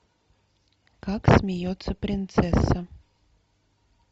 как смеется принцесса